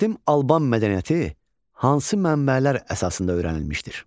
Qədim Alban mədəniyyəti hansı mənbələr əsasında öyrənilmişdir?